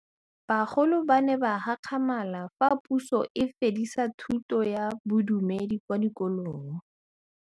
Bagolo ba ne ba gakgamala fa Pusô e fedisa thutô ya Bodumedi kwa dikolong.